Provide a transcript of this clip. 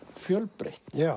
fjölbreytt já